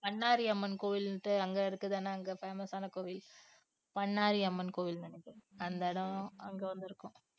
பண்ணாரி அம்மன் கோவில்ன்ட்டு அங்க இருக்குதான்னா அங்க famous ஆன கோயில் பண்ணாரி அம்மன் கோவில் அந்த இடம் அங்க வந்திருக்கோம்